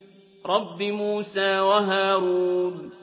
رَبِّ مُوسَىٰ وَهَارُونَ